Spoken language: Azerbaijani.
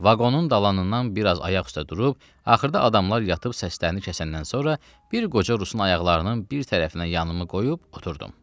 Vaqonun dalanından biraz ayaq üstə durub axırda adamlar yatıb səslərini kəsəndən sonra bir qoca rusun ayaqlarının bir tərəfinə yanımı qoyub oturdum.